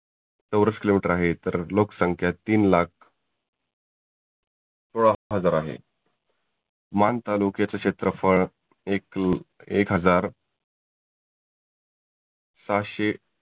चौरस kilometre आहे तर लोक संख्या तीन लाख सोळा हजार आहे. मान तालुक्याच क्षेत्रफळ एक हजार सहाशे